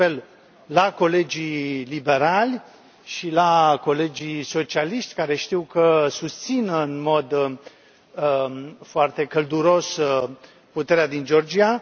Fac apel la colegii liberali și la colegii socialiști, care știu că susțin în mod foarte călduros puterea din Georgia.